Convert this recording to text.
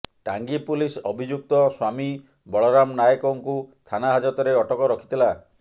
Tangi police ଅଭିଯୁକ୍ତ ସ୍ୱାମୀ ବଳରାମ ନାୟକଙ୍କୁ ଥାନା ହାଜତରେ ଅଟକ ରଖିଥିଲା